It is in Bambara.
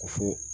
Ko fɔ